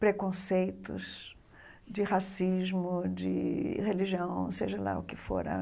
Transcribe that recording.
preconceitos de racismo, de religião, seja lá o que for ãh.